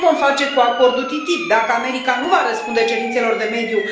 Ce vom face cu acordul TTIP, dacă America nu va răspunde cerințelor de mediu?